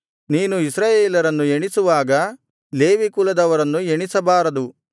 ನೀನು ಇಸ್ರಾಯೇಲರನ್ನು ಎಣಿಸುವಾಗ ಲೇವಿ ಕುಲದವರನ್ನು ಎಣಿಸಬಾರದು